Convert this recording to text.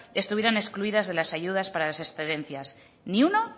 estuvieran excluidas de las ayudas para las excedencias ni uno